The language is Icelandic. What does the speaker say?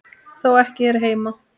Þó ekki hér heima.